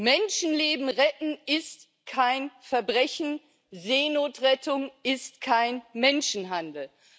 Menschenleben retten ist kein Verbrechen, Seenotrettung ist kein Menschenhandel!